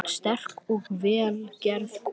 Sterk og vel gerð kona.